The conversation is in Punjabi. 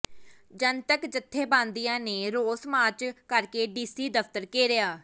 ਜਨਤਕ ਜਥੇਬੰਦੀਆਂ ਨੇ ਰੋਸ ਮਾਰਚ ਕਰਕੇ ਡੀਸੀ ਦਫ਼ਤਰ ਘੇਰਿਆ